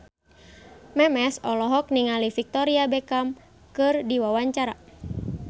Memes olohok ningali Victoria Beckham keur diwawancara